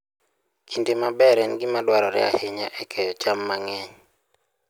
Kinde maber en gima dwarore ahinya e keyo cham mang'eny.